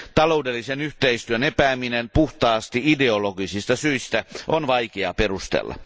Taloudellisen yhteistyön epäämistä puhtaasti ideologisista syistä on vaikea perustella.